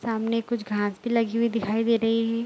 सामने कुछ घास भी लगी हुई दिखाई दे रही है।